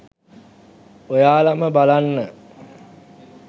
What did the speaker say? ඔයාලම බලන්න